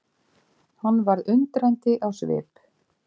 Hann varð undrandi á svip.